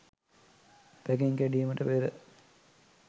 packing කැඩීමට පෙර